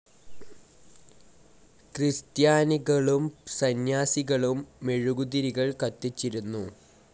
ക്രിസ്ത്യാനികളും സന്യാസിനികളും മെഴുകുതിരികൾ കത്തിച്ചിരുന്നു.